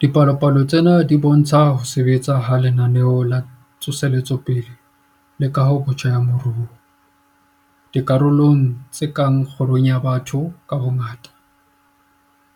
Dipalopalo tsena di bo ntsha ho sebetsa ha Lenaneo la Tsoseletso le Kahobotjha ya Moruo - dikarolong tse kang kgirong ya batho ka bongata,